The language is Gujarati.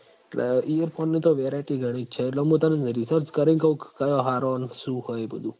એટલ એ પણ એ તો variety ઘણી જ છે એટલ મું તન research કરીન કઉં ક કયાં હારાં ન શું હોય એ બધું